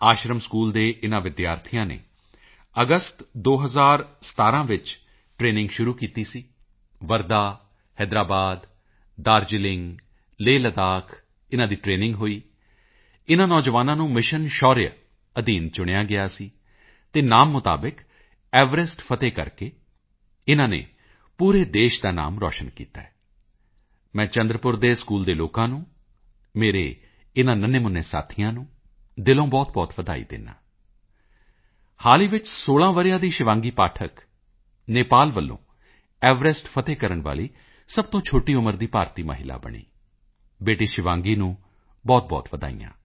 ਆਸ਼ਰਮ school ਦੇ ਇਨ੍ਹਾਂ ਵਿਦਿਆਰਥੀਆਂ ਨੇ ਅਗਸਤ 2017 ਵਿੱਚ ਟਰੇਨਿੰਗ ਸ਼ੁਰੂ ਕੀਤੀ ਸੀ ਵਰਧਾ ਹੈਦਰਾਬਾਦ ਦਾਰਜੀਲਿੰਗ ਲੇਹਲੱਦਾਖ ਇਨ੍ਹਾਂ ਦੀ ਟਰੇਨਿੰਗ ਹੋਈ ਇਨ੍ਹਾਂ ਨੌਜਵਾਨਾਂ ਨੂੰ ਮਿਸ਼ਨ ਸ਼ੌਰਯਾ ਅਧੀਨ ਚੁਣਿਆ ਗਿਆ ਸੀ ਅਤੇ ਨਾਮ ਮੁਤਾਬਕ ਐਵਰੈਸਟ ਫ਼ਤਿਹ ਕਰਕੇ ਇਨ੍ਹਾਂ ਨੇ ਪੂਰੇ ਦੇਸ਼ ਦਾ ਨਾਮ ਰੌਸ਼ਨ ਕੀਤਾ ਹੈ ਮੈਂ ਚੰਦਰਪੁਰ ਦੇ ਸਕੂਲ ਦੇ ਲੋਕਾਂ ਨੂੰ ਮੇਰੇ ਇਨ੍ਹਾਂ ਨੰਨੇਮੁੰਨੇ ਸਾਥੀਆਂ ਨੂੰ ਦਿਲੋਂ ਬਹੁਤ ਵਧਾਈ ਦਿੰਦਾ ਹਾਂ ਹਾਲ ਹੀ ਵਿੱਚ 16 ਵਰ੍ਹਿਆਂ ਦੀ ਸ਼ਿਵਾਂਗੀ ਪਾਠਕ ਨੇਪਾਲ ਵੱਲੋਂ ਐਵਰੈਸਟ ਫ਼ਤਿਹ ਕਰਨ ਵਾਲੀ ਸਭ ਤੋਂ ਛੋਟੀ ਉਮਰ ਦੀ ਭਾਰਤੀ ਮਹਿਲਾ ਬਣੀ ਬੇਟੀ ਸ਼ਿਵਾਂਗੀ ਨੂੰ ਬਹੁਤਬਹੁਤ ਵਧਾਈਆਂ